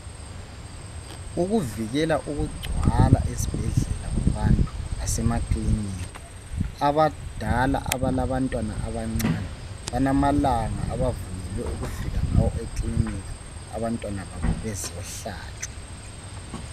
Ukuvikela ukugcwala esibhedlela kwabantu lasemakilinika, abadala abalabantwana abancane balamalanga abavunyelwe ukufika ngawo eklinika, abantwana babo bezihlatshwa.